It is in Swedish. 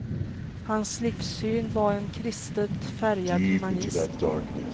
Hans livssyn var en kristet färgad humanism.